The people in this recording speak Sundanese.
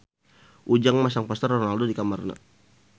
Ujang masang poster Ronaldo di kamarna